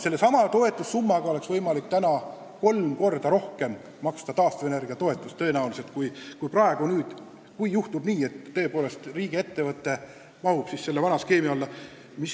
Sellesama toetussummaga oleks tõenäoliselt võimalik maksta kolm korda rohkem taastuvenergia toetust kui praegu, kui juhtub nii, et tõepoolest riigiettevõte mahub selle vana skeemi alla.